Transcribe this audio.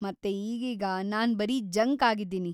ಮತ್ತೇ ಈಗೀಗ , ನಾನ್‌ ಬರೀ ಜಂಕ್ ಆಗಿದ್ದೀನಿ!